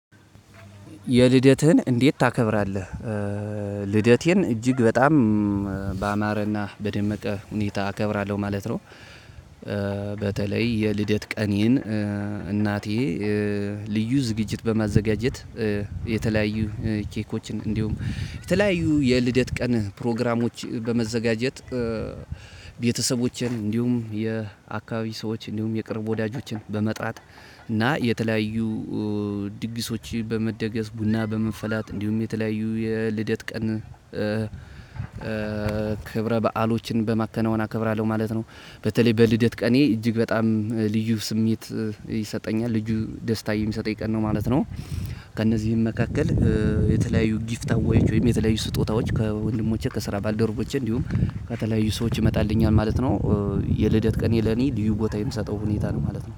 የልደትህን እንዴት ታከብራለህ? ልደቴን እጅግ በጣም ባማረና በደመቀ ሁኔታ እከብራለሁ ማለት ነው። በተለይ የልደት ቀኔን። እናቴ ልዩ ዝግጅት በማዘጋጀት የተለያዩ ኬኮችን እንዲሁም የተለያዩ የልደት ቀን ፕሮግራሞች በመዘጋጀት። ቤተሰቦችን እንዲሁም የአካባቢ ሰዎች እንዲሁም የቅርብ ወዳጆችን በመጣት እና የተለያዩ ድግሶችን በመደገስ ቡና በመፈላት እንዲሁም የተለያዩ የልደት ቀን ክብረ በዓሎችን በማከናወን አከብራለሁ ማለት ነው። በተለይ በልደት ቀኔ እጅግ በጣም ልዩ ስሜት ይሰጠኛል ልዩ ደስታ የሚሰጠኝ ቀን ነው ማለት ነው። ከእነዚህም መካከል የተለያዩ ጊፍታዎች ወይም የተለያዩ ስጦታዎች ከወንድሞቼ ከስራ ባልደረቦቼ እንዲሁም ከተለያዩ ሰዎች ይመጣልኛል ማለት ነው። የልደት ቀኔ ለኔ ልዩ ቦታ የምሰጠው ሁኔታ ነው ማለት ነው